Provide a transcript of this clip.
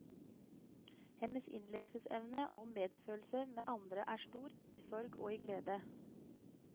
Hennes innlevelsesevne og medfølelse med andre er stor, i sorg og i glede.